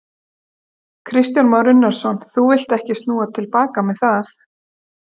Kristján Már Unnarsson: Þú villt ekki snúa til baka með það?